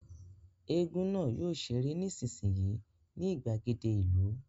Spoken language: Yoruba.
Égún náà yóò ṣeré nísinsìnyí ní ìgbàgede ìlú